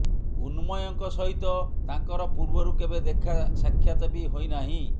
ଉନ୍ମୟଙ୍କ ସହିତ ତାଙ୍କର ପୂର୍ବରୁ କେବେ ଦେଖା ସାକ୍ଷାତ ବି ହୋଇନାହିଁ